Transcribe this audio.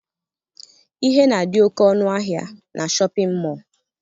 Ihe na-adị oke ọnụ ahịa na shọpịn mọọ